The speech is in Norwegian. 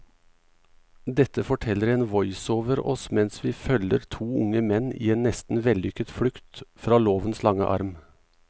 Dette forteller en voiceover oss mens vi følger to unge menn i en nesten vellykket flukt fra lovens lange arm.